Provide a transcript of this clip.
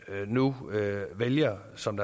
nu vælger som